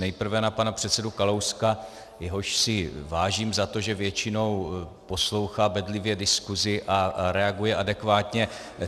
Nejprve na pana předsedu Kalouska, jehož si vážím za to, že většinou poslouchá bedlivě diskusi a reaguje adekvátně.